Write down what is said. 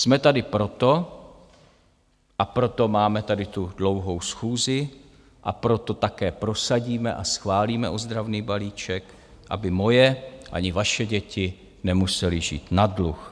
Jsme tady proto, a proto máme tady tu dlouhou schůzi, a proto také prosadíme a schválíme ozdravný balíček, aby moje ani vaše děti nemusely žít na dluh.